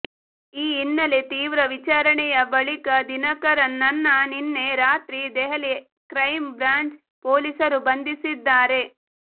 ಈ ಹಿನ್ನೆಲೆ ತೀವ್ರ ವಿಚಾರಣೆಯ ಬಳಿಕ ದಿನಕರನ್ ನನ್ನ ನಿನ್ನೆ ರಾತ್ರಿ ದೆಹಲಿ ಕ್ರೈಂ ಬ್ರಾಂಚ್ ಪೊಲೀಸರು ಬಂಧಿಸಿದ್ದಾರೆ